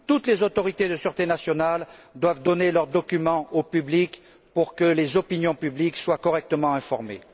Toutes les autorités de sûreté nationale doivent donner leurs documents au public pour que les opinions publiques soient correctement informées.